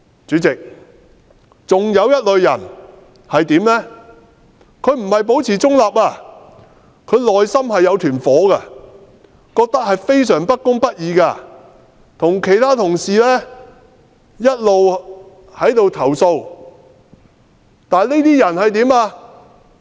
主席，還有一類人，他不是保持中立，他內心有一團火，與其他同事一起投訴他認為非常不公不義的事，但他後來怎樣？